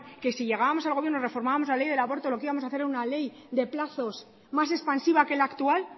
que si llegábamos al gobierno reformábamos la ley del aborto lo que íbamos a hacer ere una ley de plazos más expansiva que el actual